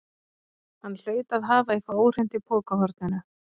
Hann hlaut að hafa eitthvað óhreint í pokahorninu.